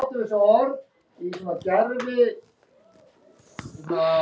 Bjössi brosir hikandi og klípur Svenna á móti.